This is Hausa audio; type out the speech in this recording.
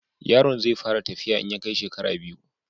Yaron zai fara tafiya in ya kai shekara biyu.